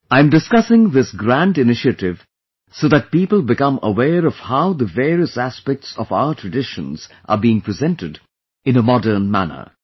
I am discussing this grand initiative so that people become aware of how the various aspects of our traditions are being presented in a modern manner